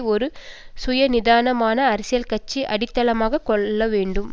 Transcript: ஒரு சுயாதீனமான அரசியல் கட்சி அடித்தளமாக கொள்ள வேண்டும்